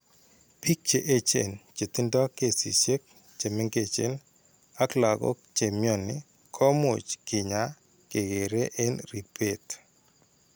Biik che echen che tindo kesisiek che meng'echen ak lakok che mnyani ko much keny'aay kekere eng' ribet.